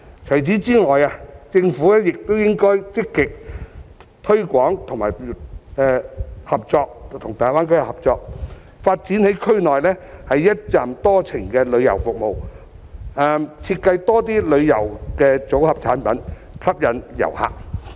除此之外，政府亦應該積極推廣及與大灣區合作，在區內發展"一程多站"的旅遊服務，多設計旅遊組合產品，吸引遊客。